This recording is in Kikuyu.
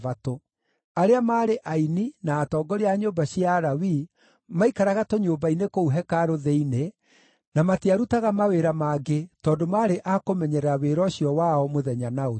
Arĩa maarĩ aini, na atongoria a nyũmba cia Alawii, maaikaraga tũnyũmba-inĩ kũu hekarũ thĩinĩ na matiarutaga mawĩra mangĩ tondũ maarĩ a kũmenyerera wĩra ũcio wao mũthenya na ũtukũ.